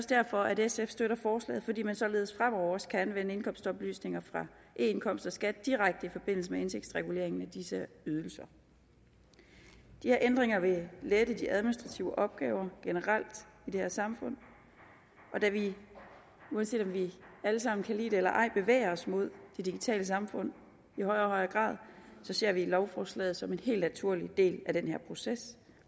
derfor at sf støtter forslaget og fordi man således fremover også kan anvende indkomstoplysninger fra eindkomst og skat direkte i forbindelse med indtægtsreguleringen af disse ydelser de her ændringer vil lette de administrative opgaver generelt i det her samfund og da vi uanset om vi alle sammen kan lide det eller ej bevæger os mod det digitale samfund i højere og højere grad ser vi lovforslaget som en helt naturlig del af den her proces